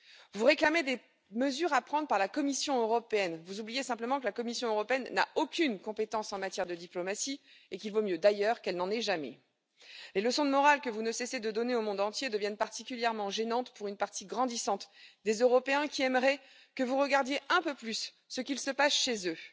Vous réclamez des mesures devant être prises par la Commission européenne, mais vous oubliez simplement que la Commission européenne n'a aucune compétence en matière de diplomatie et qu'il vaut mieux, d'ailleurs, qu'elle n'en ait jamais. Les leçons de morale que vous ne cessez de donner au monde entier deviennent particulièrement gênantes pour une partie grandissante des Européens qui aimeraient que vous regardiez un peu plus ce qui se passe chez eux.